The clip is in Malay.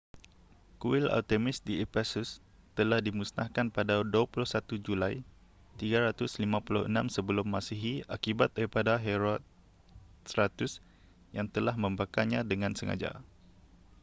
kuil artemis di ephesus telah dimusnahkan pada 21 julai 356 sm akibat daripada herostratus yang telah membakarnya dengan sengaja